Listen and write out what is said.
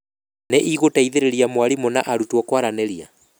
Nĩ ĩgũteithĩrĩria mwarimũ na arutwo kwaranĩria.